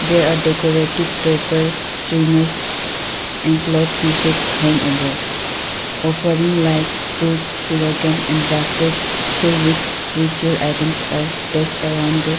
there are decorative paper and cloth pieces hanged above offering like fruits sugarcane and basket filled with ritual items are placed around the --